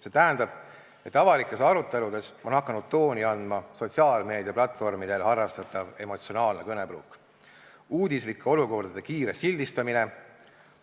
See tähendab, et avalikes aruteludes on hakanud tooni andma sotsiaalmeediaplatvormidel harrastatav emotsionaalne kõnepruuk, uudislike olukordade kiire sildistamine,